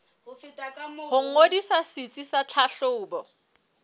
ho ngodisa setsi sa tlhahlobo